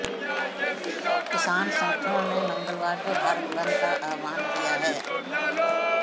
किसान संगठनों ने मंगलवार को भारत बंद का आह्वान किया है